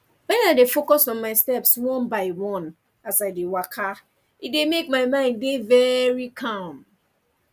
when i dey focus on my steps one by one as i dey waka e dey mek my mind dey very calm